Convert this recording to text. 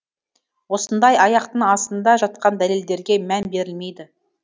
осындай аяқтың астында жатқан дәлелдерге мән берілмейді